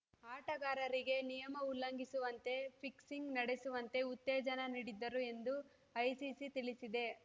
ಆಟಗಾರರಿಗೆ ನಿಯಮ ಉಲ್ಲಂಘಿಸುವಂತೆ ಫಿಕ್ಸಿಂಗ್‌ ನಡೆಸುವಂತೆ ಉತ್ತೇಜನ ನೀಡಿದ್ದರು ಎಂದು ಐಸಿಸಿ ತಿಳಿಸಿದೆ